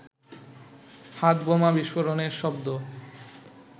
হাতবোমা বিস্ফোরণের শব্দ